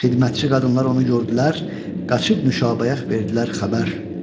Xidmətçi qadınlar onu gördülər, qaçıb Nuşabəyə verdilər xəbər.